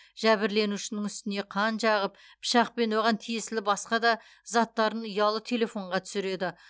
жәбірленушінің үстіне қан жағып пышақ пен оған тиесілі басқа да заттарын ұялы телефонға түсіреді